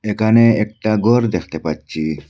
এখানে একটা ঘর দেখতে পাচ্ছি।